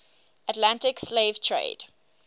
atlantic slave trade